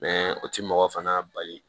o ti mɔgɔ fana bali